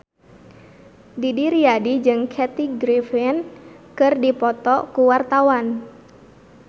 Didi Riyadi jeung Kathy Griffin keur dipoto ku wartawan